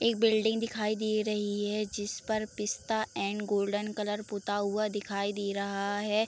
एक बिल्डिंग दिखाई दे रही है जिसपे पिस्ता एंड गोल्डन कलर पुता हुआ दिखाई दे रहा है।